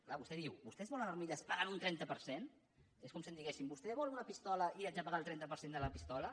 clar vostè diu vostès volen armilles pagant un trenta per cent és com si em diguessin vostè vol una pistola i haig de pagar el trenta per cent de la pistola